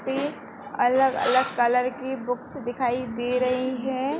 पे अलग अलग कलर की बुक्स दिखाई दे रही हैं।